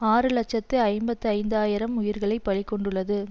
ஆறு இலட்சத்து ஐம்பத்தி ஐந்து ஆயிரம் உயிர்களை பலி கொண்டுள்ளது